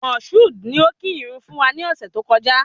Moshood ni o kí ìrun fún wa ni ọ̀sẹ̀ tó kọjá